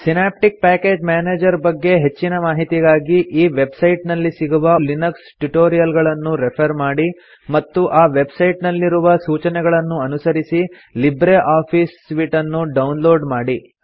synaptic package manager ಬಗ್ಗೆ ಹೆಚ್ಚಿನ ಮಾಹಿತಿಗಾಗಿ ಈ ವೆಬ್ ಸೈಟ್ ನಲ್ಲಿ ಸಿಗುವ ಲಿನಕ್ಸ್ ಟ್ಯುಟೋರಿಯಲ್ ಗಳನ್ನು ರೆಫರ್ ಮಾಡಿ ಮತ್ತು ಆ ವೆಬ್ ಸೈಟ್ ನಲ್ಲಿ ರುವ ಸೂಚನೆಗಳನ್ನು ಅನುಸರಿಸಿ ಲಿಬ್ರೆ ಆಫೀಸ್ ಸೂಟ್ ನ್ನು ಡೌನ್ ಲೋಡ್ ಮಾಡಿ